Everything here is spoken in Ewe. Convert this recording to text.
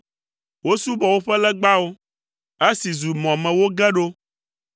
Wosubɔ woƒe legbawo, esi zu mɔ me woge ɖo.